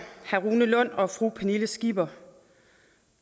herre rune lund og fru pernille skipper